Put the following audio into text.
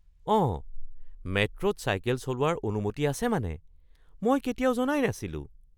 অঁ! মেট্ৰ’ত চাইকেল চলোৱাৰ অনুমতি আছে মানে। মই কেতিয়াও জনাই নাছিলোঁ।